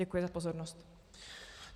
Děkuji za pozornost.